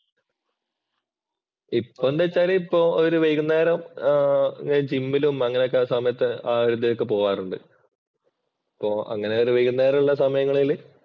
ഇപ്പൊ എന്ത് വെച്ചാല് ഇപ്പോ ഒരു വൈകുന്നേരം ഞാൻ ജിമ്മിലും അങ്ങനെയൊക്കെ ആ സമയത്ത് ആ ഒരിതിനൊക്കെ പോകാറുണ്ട്. അപ്പോ അങ്ങനെ ഒരു വൈകുന്നേരം ഉള്ള സമയങ്ങളില്